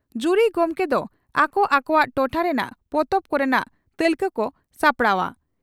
ᱡᱩᱨᱤ ᱜᱚᱢᱠᱮ ᱫᱚ ᱟᱠᱚ ᱟᱠᱚᱣᱟᱜ ᱴᱚᱴᱷᱟ ᱨᱮᱱᱟᱜ ᱯᱚᱛᱚᱵ ᱠᱚᱨᱮᱱᱟᱜ ᱛᱟᱹᱞᱠᱟᱹ ᱠᱚ ᱥᱟᱯᱲᱟᱣᱜᱼᱟ ᱾